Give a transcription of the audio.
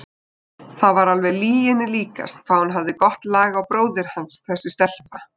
Það var alveg lyginni líkast hvað hún hafði gott lag á bróður hans þessi stelpa!